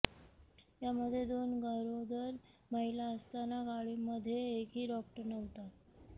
यामध्ये दोन गरोदर महिला असताना गाडीमध्ये एकही डॉक्टर नव्हता